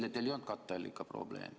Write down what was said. Eile teil ei olnud katteallika probleemi.